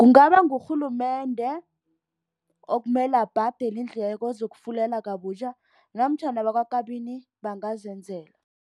Kungaba ngurhulumende okumele abhadele iindleko zokufulela kabutjha namtjhana bakwaKabini bangazenzela.